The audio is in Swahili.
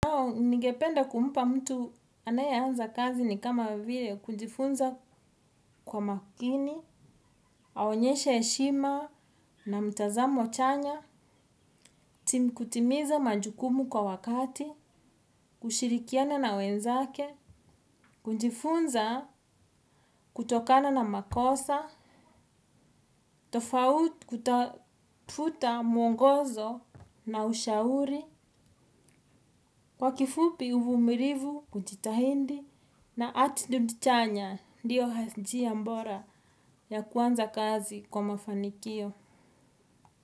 Ningependa kumpa mtu anae anza kazi ni kama vile kunjifunza kwa makini, aonyeshe heshima na mtazamo chanya, timu kutimiza majukumu kwa wakati, kushirikiana na wenzake, kujifunza kutokana na makosa, tofauti kutafuta mwongozo na ushauri, kwa kifupi uvumilivu, kujitahidi, na attitude chanya ndio njia bora. Ya kuanza kazi kwa mafanikio.